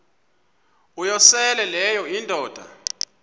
uyosele leyo indoda